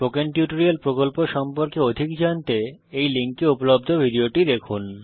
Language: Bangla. স্পোকেন টিউটোরিয়াল প্রকল্প সম্পর্কে অধিক জানতে এই লিঙ্কে উপলব্ধ ভিডিওটি দেখুন